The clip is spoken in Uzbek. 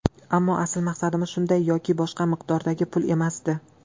Ammo asl maqsadimiz shunday yoki boshqa miqdordagi pul emasdi.